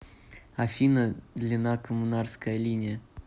афина длина коммунарская линия